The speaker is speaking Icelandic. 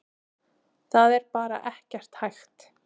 Það er bara ekkert hægt.